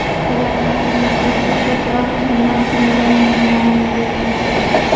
Agar haqiqat bo‘lsa, ko‘proq kimlar bunga moyil bo‘lmoqda?